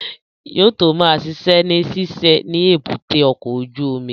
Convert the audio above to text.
Yóò tó ma ṣiṣẹ́ ní ṣíṣe ni èbúté ọkọ̀ ojú omi